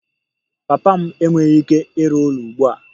Papa m enweghị ike ịrụ ụlọ ugbu a